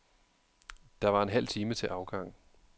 Der var en halv time til afgang.